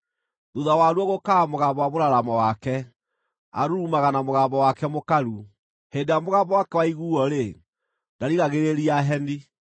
Thuutha waruo gũũkaga mũgambo wa mũraramo wake; arurumaga na mũgambo wake mũkaru. Hĩndĩ ĩrĩa mũgambo wake waiguuo-rĩ, ndarigagĩrĩria heni.